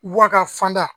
Wa ka fan da